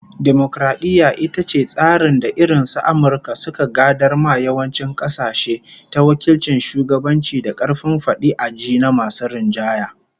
Dimokaradiyya ita ce tsarin da irin su Amurka suka gadar ma yawancin kasashe, ta wakilcin shugabanci da karfin fadi a ji na masu rinjaye